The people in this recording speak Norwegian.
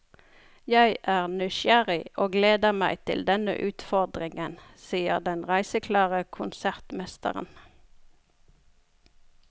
Jeg er nysgjerrig og gleder meg til denne utfordringen, sier den reiseklare konsertmesteren.